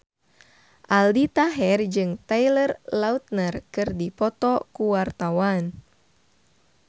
Aldi Taher jeung Taylor Lautner keur dipoto ku wartawan